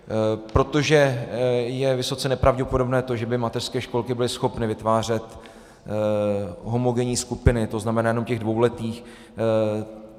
Protože je vysoce nepravděpodobné to, že by mateřské školky byly schopny vytvářet homogenní skupiny, to znamená jenom těch dvouletých.